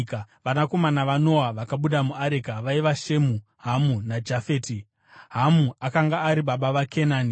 Vanakomana vaNoa vakabuda muareka vaiva Shemu, Hamu naJafeti. (Hamu akanga ari baba vaKenani.)